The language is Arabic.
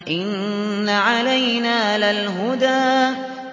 إِنَّ عَلَيْنَا لَلْهُدَىٰ